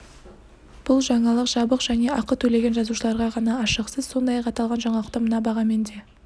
бұл жаңалық жабық және ақы төлеген жазылушыларға ғана ашық сіз сондай-ақ аталған жаңалықты мына бағамен де